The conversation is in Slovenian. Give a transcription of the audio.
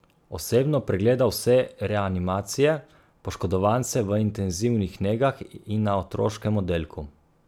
Osebno pregleda vse reanimacije, poškodovance v intenzivnih negah in na otroškem oddelku.